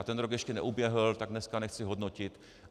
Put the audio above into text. A ten rok ještě neuběhl, tak dneska nechci hodnotit.